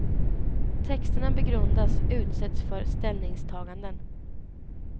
Texterna begrundas, utsätts för ställningstaganden.